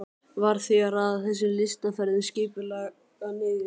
Varð því að raða þessum lystiferðum skipulega niður.